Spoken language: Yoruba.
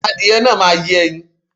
Adìyẹ náà máa yé ẹyin.